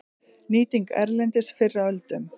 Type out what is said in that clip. Nýting erlendis fyrr á öldum